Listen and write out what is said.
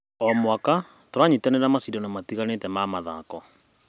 O mwaka, tũranyitanĩra maciandano matiganĩte ma mathako.